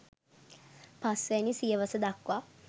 පස් වැනි සියවස දක්වා